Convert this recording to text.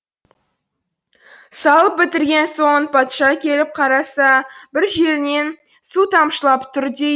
салып бітірген соң патша келіп қараса бір жерінен су тамшылап тұр дейді